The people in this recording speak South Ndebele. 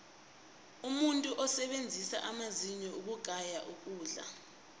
umuntu usebenzisa amazinyo ukugaya ukudla